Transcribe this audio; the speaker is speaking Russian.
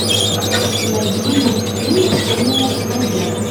найди мультфильм семеро козлят